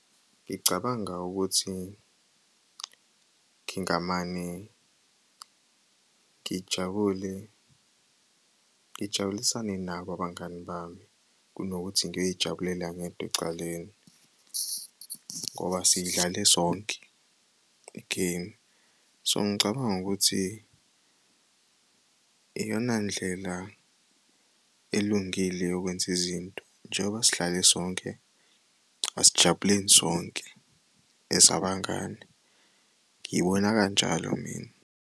Ngicabanga ukuthi ngingamane ngijabule ngijabulisane nabo abangani bami kunokuthi ngiyoyijabulela ngedwa ecaleni ngoba siyidlale sonke i-game. So ngicabanga ukuthi iyona ndlela elungile yokwenza izinto njengoba sihlale sonke asijabuleni sonke as abangani ngibona kanjalo mina.